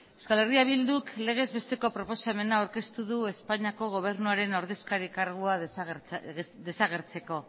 euskal herria bilduk legez besteko proposamena aurkeztu du espainiako gobernuaren ordezkari kargua desagertzeko